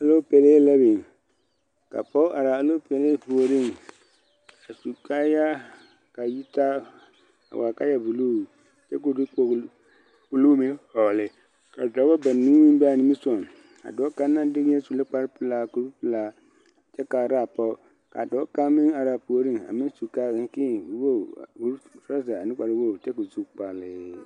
Aloopelee la weŋ ka pɔge araa a aloopelee puoreŋ a su kaayaa ka a yitaa a waa kaaya buluu kyɛ ko o kpogli o nu meŋ hɔɔli ka dɔbɔ banuu meŋ bee niŋesogoŋ ka dɔɔ kaŋ naŋ de wieɛ su la kparrepelaa korepelaa kyɛ kaaraa pɔge ka dɔɔ kaŋ meŋ araa puoreŋ a meŋ su kaakii woge torozɛ ane kprrenuuri kyɛ ko o zu kpalii.